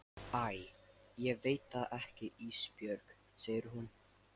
Æ ég veit það ekki Ísbjörg, segir hún.